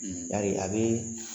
Yari a bɛ